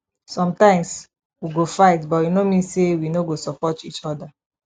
sometimes we go fight but e no mean say we no go support each other